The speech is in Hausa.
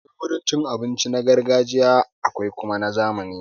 Akwai wurin cin abinci na gargajiya akwai kuma na zamani.